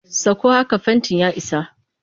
Sakko haka fentin ya isa!